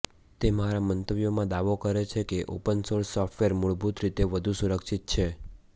તે મારા મંતવ્યોમાં દાવો કરે છે કે ઓપન સોર્સ સોફ્ટવેર મૂળભૂત રીતે વધુ સુરક્ષિત છે